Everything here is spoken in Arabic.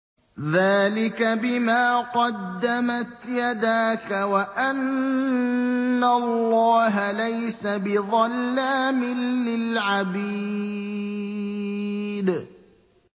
ذَٰلِكَ بِمَا قَدَّمَتْ يَدَاكَ وَأَنَّ اللَّهَ لَيْسَ بِظَلَّامٍ لِّلْعَبِيدِ